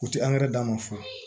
U tɛ d'a ma fo